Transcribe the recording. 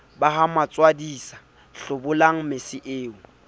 ba matswadisa hlobolang mese eo